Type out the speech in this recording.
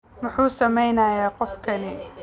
Muxuu samaynayaa qofkani?